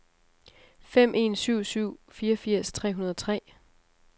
fem en syv syv fireogfirs tre hundrede og tre